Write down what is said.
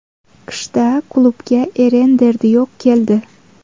Qishda klubga Eren Derdiyok keldi.